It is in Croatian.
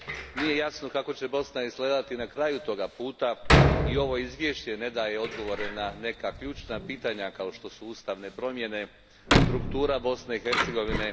Nije jasno kako će Bosna izgledati na kraju toga puta i ovo izvješće ne daje odgovore na neka ključna pitanja kao što su ustavne promjene, struktura Bosne i Hercegovine.